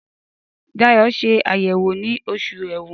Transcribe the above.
Dayọ̀ ṣe àyẹ̀wò ní Oṣù Ẹ̀wọ̀n